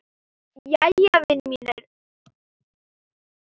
Jæja, vinir mínir.